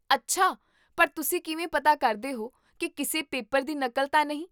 ਅੱਛਾ! ਪਰ ਤੁਸੀਂ ਕਿਵੇਂ ਪਤਾ ਕਰਦੇ ਹੋ ਕੀ ਕਿਸੇ ਪੇਪਰ ਦੀ ਨਕਲ ਤਾਂ ਨਹੀਂ?